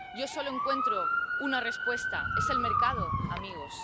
Yo solo encuentro una respuesta Es el mercado, amigos.